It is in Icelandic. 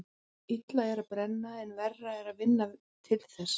Illt er að brenna en verra er að vinna til þess.